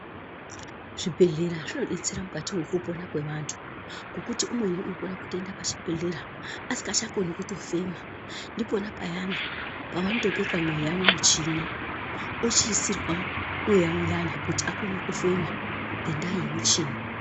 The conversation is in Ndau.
Zvibhehlera zvinodetsera mukati mwekupona kwevantu ngokuti umweni ukono a kutoenda pachibhedhlera asikachatokoni kutofema. Ndipo payana pavanotobeka mweya mumuchini ochiisirwa mweya uyana kuti akone kufema ngendaa yemuchini.